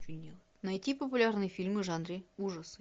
найти популярные фильмы в жанре ужасы